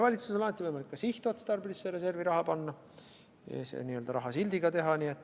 Valitsusel on alati võimalik ka sihtotstarbelisse reservi raha panna, teha see n-ö rahasildiga.